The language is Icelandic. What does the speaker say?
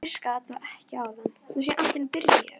Sömuleiðis gisti Kristín eldri dóttir mín ásamt Gunnari